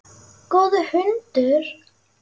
Góður hundur.